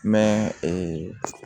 Mɛ ee